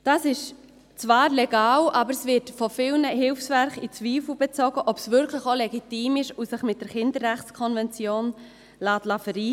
Das ist zwar legal, aber von vielen Hilfswerken wird in Zweifel gezogen, ob es wirklich auch legitim ist und sich mit der Kinderrechtskonvention vereinbaren lässt.